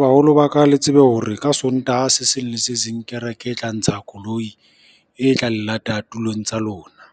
Baholo ba ka le tsebe hore ka Sontaha se seng le se seng, kereke e tla ntsha koloi e tla le lata tulong tsa lona.